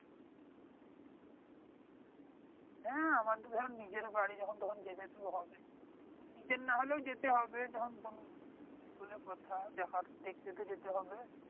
হ্যাঁ, আমাদের ধর নিজের বাড়ি যখন তখন যেতে তো হবে। নিজের না হলেও যেতে হবে তখন বোন বলে কথা, যাইহোক দেখতে তো যেতে হবে।